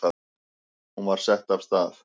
Hún var sett af stað.